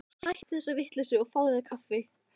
Hættu þessari vitleysu og fáðu þér kaffi.